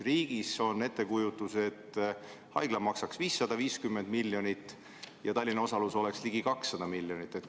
Riigil on ettekujutus, et haigla läheb maksma 550 miljonit eurot ja Tallinna osalus võiks olla ligikaudu 200 miljonit eurot.